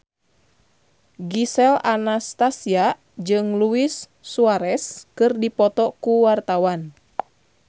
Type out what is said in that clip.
Gisel Anastasia jeung Luis Suarez keur dipoto ku wartawan